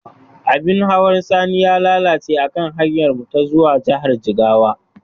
Abin hawan Sani ya lalace akan hanyarmu ta zuwa jihar jigawa.